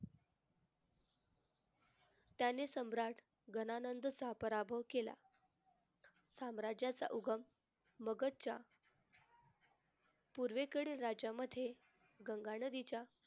त्याने सम्राट गणानंदचहा पराभव केला. साम्राज्याचा उगम मगतच्या पूर्वेकडे राज्यामध्ये गंगा नदीच्या